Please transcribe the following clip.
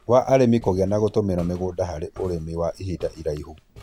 wa arĩmi kũgĩa na gũtũmĩra mĩgũnda harĩ ũrĩmi wa ihinda iraihu.